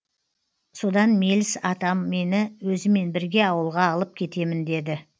содан меліс атам мені өзімен бірге ауылға алып кетемін деді